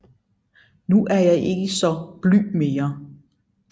Nu er jeg ikke saa blyg mere